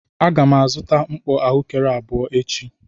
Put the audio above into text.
A ga m azụta mkpọ ahụekere abụọ echi.